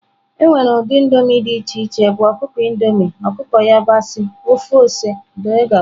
Enwere ụdị indomie dị iche iche bụ ọkụkọ Indomie, ọkụkọ yabasị, ofe ose wdg.